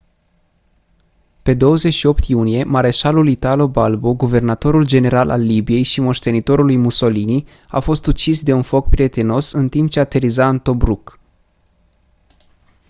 pe 28 iunie mareșalul italo balbo guvernatorul general al libiei și moștenitorul lui mussolini a fost ucis de un foc prietenos în timp ce ateriza în tobruk